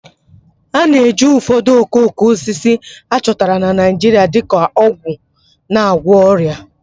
A na-eji ụfọdụ okooko osisi a chọtara na Naijiria dị ka ọgwụ na-agwọ ọrịa